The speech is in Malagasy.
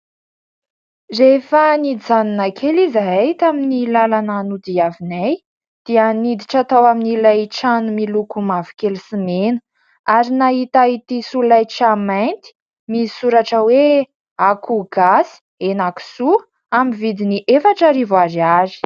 Rehefa nijanona kely izahay tamin'ny lalana nodiaviny dia niditra tao amin'ilay trano miloko mavokely sy mena ary nahita ity solaitra mainty misy soratra hoe : akoho gasy , henan-kisoa amin'y vidiny efatra rivo ariary .